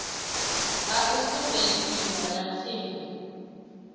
ha u sumbedziswa ha tshipi